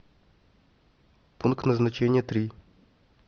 пункт назначения три